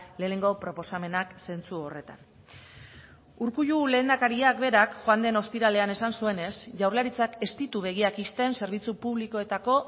lehenengo proposamenak zentzu horretan urkullu lehendakariak berak joan den ostiralean esan zuenez jaurlaritzak ez ditu begiak ixten zerbitzu publikoetako